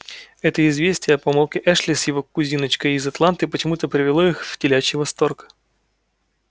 это известие о помолвке эшли с его кузиночкой из атланты почему-то привело их в телячий восторг